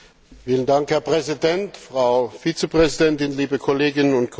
Herr Präsident, Frau Vizepräsidentin, liebe Kolleginnen und Kollegen!